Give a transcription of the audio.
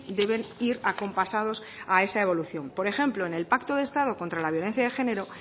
deben ir acompasados a esa evolución por ejemplo en el pacto de estado contra la violencia de género